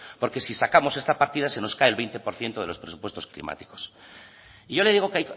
porque si sacamos esta partida se nos cae el veinte por ciento de los presupuestos climáticos y yo le digo que